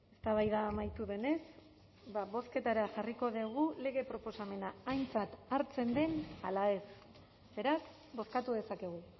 eztabaida amaitu denez bozketara jarriko dugu lege proposamena aintzat hartzen den ala ez beraz bozkatu dezakegu